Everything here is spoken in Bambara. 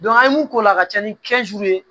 an ye mun k'o la ka ca ni ye